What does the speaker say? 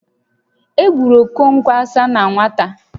E gburu Okonkwo Asaá na nwata